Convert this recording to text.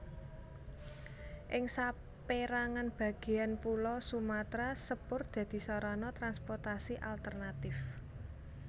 Ing sapérangan bagéan pulo Sumatra sepur dadi sarana transportasi alternatif